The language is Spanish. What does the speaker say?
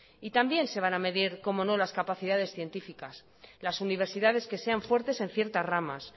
y también se van a mediar cómo no las capacidades científicas las universidades que sean fuertes en ciertas ramas